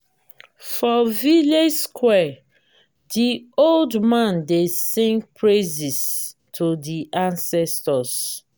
for village square di old man dey sing praises to di ancestors.